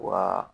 Wa